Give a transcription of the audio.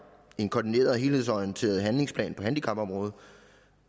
en koordineret og helhedsorienteret handlingsplan på handicapområdet